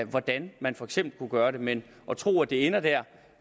hvordan man for eksempel kunne gøre det men at tro at det ender der